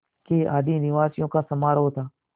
के आदिनिवासियों का समारोह था